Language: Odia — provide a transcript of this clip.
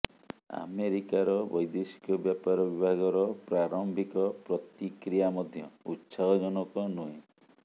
ଆମେରିକାର ବୈଦେଶିକ ବ୍ୟାପାର ବିଭାଗର ପ୍ରାରମ୍ଭିକ ପ୍ରତିକ୍ରିୟା ମଧ୍ୟ ଉତ୍ସାହଜନକ ନୁହେଁ